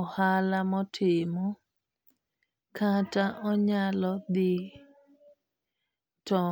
ohala motimo kata onyalo dhi to